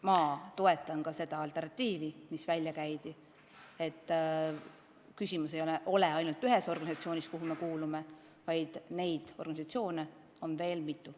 Ma toetan ka seda alternatiivi, mis välja käidi – küsimus ei ole ainult ühes organisatsioonis, kuhu me kuulume, tähtsaid organisatsioone on veel mitu.